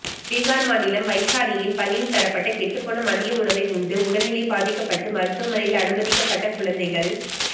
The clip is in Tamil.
பிகார் மாநிலம் வைஷாலியில் பள்ளியில் தரப்பட்ட கெட்டுப்போன மதிய உணவை உண்டு உடல் நிலை பாதிக்கப்பட்டு மருத்துவமனையில் அனுமதிக்கப்பட்ட குழந்தைகள்